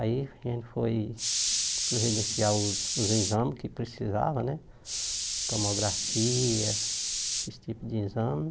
Aí a gente foi providenciar os exames que precisava né, tomografia, esses tipos de exame.